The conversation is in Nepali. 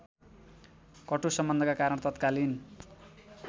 कटु सम्बन्धका कारण तत्कालीन